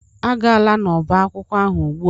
Agala n'ọba akwụkwọ ugbu a!